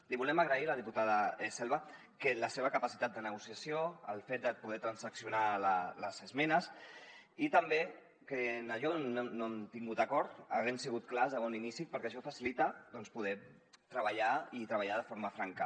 li volem agrair a la diputada selva la seva capacitat de negociació el fet de poder transaccionar les esmenes i també que en allò on no hem tingut acord haguem sigut clars de bon inici perquè això facilita doncs poder treballar i treballar de forma franca